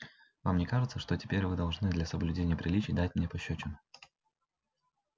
вам не кажется что теперь вы должны для соблюдения приличий дать мне пощёчину